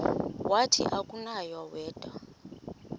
wathi akunakuya wedw